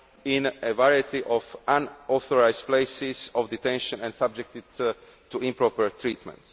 in a variety of unauthorised places of detention and subjected to improper treatment.